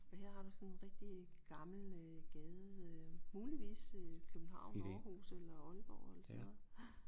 Og her har du sådan en rigtig gammel øh gade øh muligvis København Aarhus eller Aalborg eller sådan noget